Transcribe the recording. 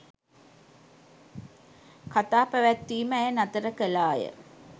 කතා පැවැත්වීම ඇය නතර කළාය.